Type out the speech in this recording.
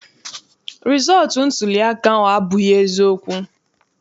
Rịzọọtụ ntuliaka ahụ abụghị eziokwu.